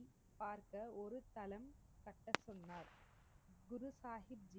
பார்க்க ஒருதளம் கட்ட சொன்னார் குருசாஹிப்